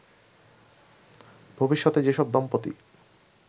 ভবিষ্যতে যেসব দম্পতি